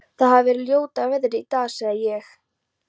Það hefir verið ljóta veðrið í dag sagði ég.